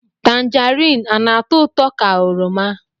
Tangerine ọ na-atọ ụtọ ka oroma?